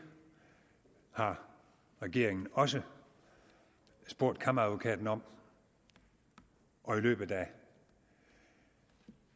har regeringen også spurgt kammeradvokaten om og i løbet af